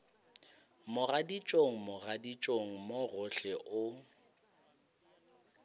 mogaditšong mogaditšong mo gohle o